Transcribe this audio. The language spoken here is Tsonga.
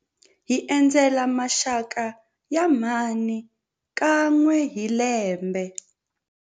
Hi endzela maxaka ya mhani kan'we hi lembe.